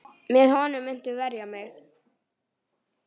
Með honum muntu verja mig.